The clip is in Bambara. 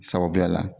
Sababuya la